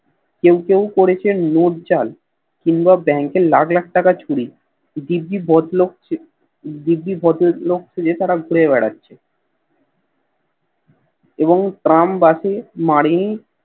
কেও কেও করেছেন নোট জাল কিংবা Bank এ লাখ লাখ টাকা চুরি দিব্যি বড় দিব্যি ভদ্র লোক সেজে ঘুরে বেড়াচ্ছে এবং ট্রাম বাসে মরে